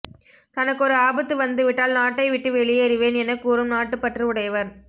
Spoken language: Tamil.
தனக்கொரு ஆபத்து வந்துவிட்டால் நாட்டை விட்டு வெளியேறுவேன் என கூறும் நாட்டுப்பற்று உடையவர்